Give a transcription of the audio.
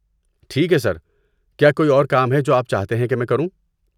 ٹھیک ہے سر، کیا کوئی اور کام ہے جو آپ چاہتے ہیں کہ میں کروں؟